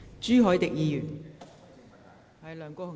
朱凱廸議員，請發言。